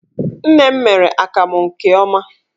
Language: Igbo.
Nne m mere akamụ nke ọma.